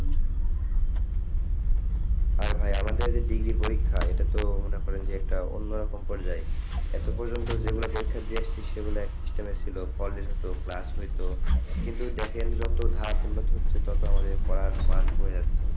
হ্যাঁ, ভাই আমাদের যে degree পরীক্ষা এটা তো মনে করেন যে অন্য রকম পর্যায় এত পর্যন্ত যে গুলা পরীক্ষা দিয়ে আসছি সেগুলা এক system ছিল college হইতো class হইতো কিন্তু দেখেন যত ধাপ উন্নত তত আমাদের পড়ার মান কমে যাচ্ছে,